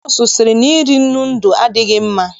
Nọọsụ sị na iri nnu ndụ adịghị mma.